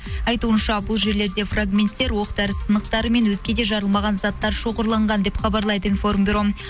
айтуынша бұл жерлерде фрагменттер оқ дәрі сынықтарымен өзге де жарылмаған заттар шоғырланған деп хабарлайды информбюро